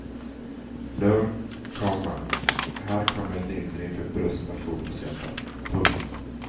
Lugn, komma här kommer lindring för brustna fotbollshjärtan. punkt